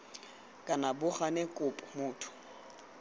kana bo gane kopo motho